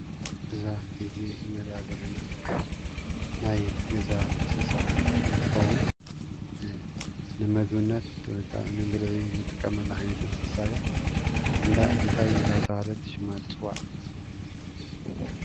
እዛ ሕዚ ንሪኣ ዘለና ናይ ገዛ እንስሳ እንትትከውን ንምግብነት ወይከዓ ንብልዒ እንጥቀመላ ዓይነት እንስሳ እያ፡፡ እንታይ እንዳተባህለት ሽማ ትፅዋዕ?